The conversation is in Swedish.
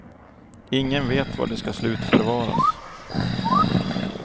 Ingen vet var det ska slutförvaras.